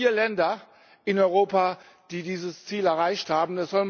Wir haben vier Länder in Europa, die dieses Ziel erreicht haben